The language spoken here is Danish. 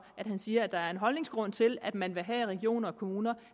at han siger at der er en holdningsgrund til at man vil have regioner og kommuner